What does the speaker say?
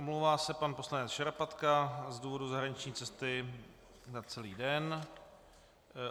Omlouvá se pan poslanec Šarapatka z důvodu zahraniční cesty na celý den.